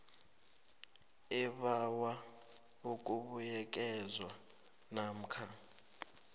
ebawa ukubuyekezwa namkha